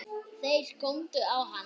Þeir góndu á hann.